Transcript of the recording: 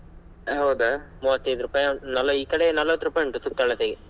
ಹೌದಾ? ಮೂವತ್ತೈದು ರೂಪಾಯಿ ನಲ~ ಈಕಡೆ ನಲವತ್ತು ರೂಪಾಯ ಉಂಟು ಸುತ್ತಳತೆಗೆ.